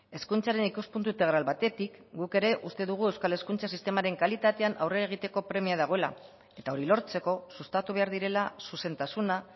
hezkuntzaren ikuspuntu integral batetik guk ere uste dugu euskal hezkuntza sistemaren kalitatean aurrera egiteko premia dagoela eta hori lortzeko sustatu behar direla zuzentasuna